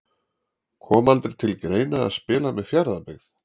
Kom aldrei til greina að spila með Fjarðabyggð?